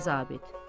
Yaralı zabit.